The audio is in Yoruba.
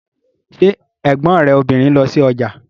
Ṣé ẹ̀gbọ́n rẹ̀ obìnrin ń lọ sí ọjà